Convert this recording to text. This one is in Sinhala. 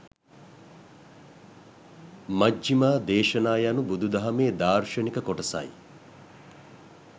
මජ්ඣිමා දේශනා යනු බුදුදහමේ දාර්ශනික කොටසයි.